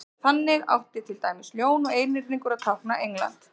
þannig átti til dæmis ljón og einhyrningur að tákna england